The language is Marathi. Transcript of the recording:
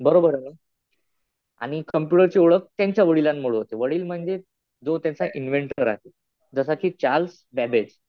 बरोबर ना. आणि कम्प्युटरची ओळख त्यांच्या वडिलांमुळं होते. वडील म्हणजे जो त्यांचा इन्व्हेन्टर आहे. जसं कि चार्ल्स बेबेज.